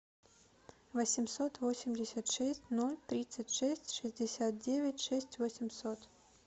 восемьсот восемьдесят шесть ноль тридцать шесть шестьдесят девять шесть восемьсот